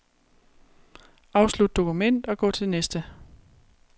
Afslut dokument og gå til næste.